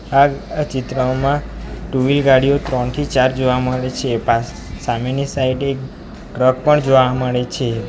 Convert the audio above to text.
આ આ ચિત્રમાં ટુ વ્હીલ ગાડીઓ ત્રણથી ચાર જોવા મળે છે પાસ સામેની સાઈડે ટ્રક પણ જોવા મળે છે.